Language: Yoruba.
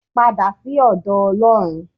Padà sí ọ̀dọ̀ Ọlọ́run.